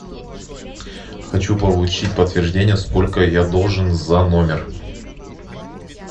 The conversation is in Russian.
хочу получить подтверждение сколько я должен за номер